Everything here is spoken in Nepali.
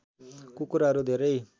कुकुरहरू धेरै